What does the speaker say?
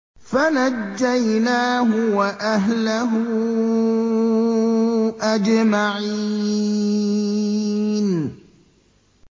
فَنَجَّيْنَاهُ وَأَهْلَهُ أَجْمَعِينَ